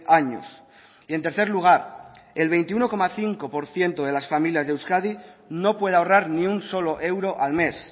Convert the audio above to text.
años y en tercer lugar el veintiuno coma cinco por ciento de las familias de euskadi no puede ahorrar ni un solo euro al mes